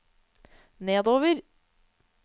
nedover